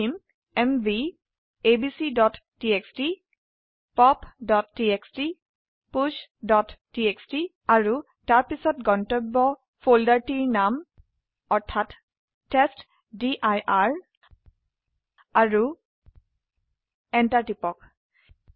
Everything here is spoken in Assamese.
আমি লিখিম এমভি abcটিএক্সটি popটিএক্সটি pushটিএক্সটি আৰু তাৰপিছত গন্তব্য ফোল্ডাৰটিৰ নাম অৰ্থাৎ টেষ্টডিৰ আৰু এন্টাৰ টিপক